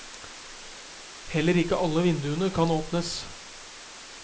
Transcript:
Heller ikke alle vinduene kan åpnes.